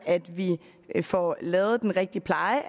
at vi får lavet den rigtige pleje